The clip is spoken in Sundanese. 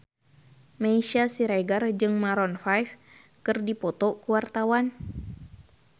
Meisya Siregar jeung Maroon 5 keur dipoto ku wartawan